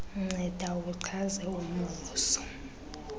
nceda uchaze umvuzo